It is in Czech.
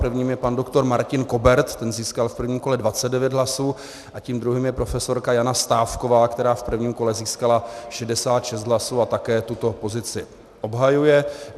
Prvním je pan doktor Martin Kobert, ten získal v prvním kole 29 hlasů, a tím druhým je profesorka Jana Stávková, která v prvním kole získala 66 hlasů a také tuto pozici obhajuje.